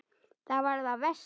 Það var það versta.